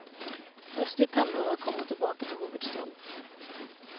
Først i tenårene kom hun tilbake til hovedstaden.